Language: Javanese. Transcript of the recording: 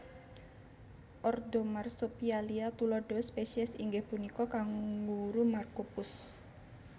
Ordo Marsopialia tuladha spesies inggih punika kanguru marcopus